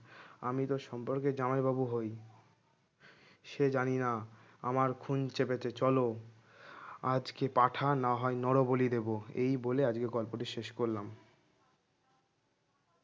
আমি তোর সম্পর্কে জামাইবাবু হই সে জানি না আমার খুন চেপেছে চলো আজকে পাঁঠা না হয় নর বলি দেবো এই বলে আজকে গল্পটি শেষ করলাম